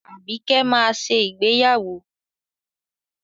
Àbíkẹ́ máa ṣe ìgbéyàwó.